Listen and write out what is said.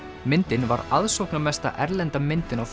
myndin var erlenda myndin á